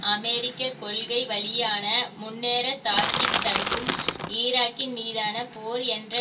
அமெரிக்க கொள்கைவழியான முன்னரே தாக்கி தடுக்கும் ஈராக்கின் மீதான போர் என்ற